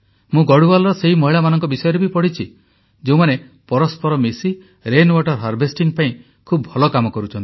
ମୁଁ ଗଢ଼ୱାଲର ସେହି ମହିଳାମାନଙ୍କ ବିଷୟରେ ବି ପଢ଼ିଛି ଯେଉଁମାନେ ପରସ୍ପର ମିଶି ବର୍ଷାଜଳ ସଂରକ୍ଷଣ ପାଇଁ ଖୁବ ଭଲ କାମ କରୁଛନ୍ତି